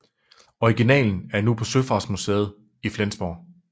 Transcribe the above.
Originalen er nu på Søfartsmuseet i Flensborg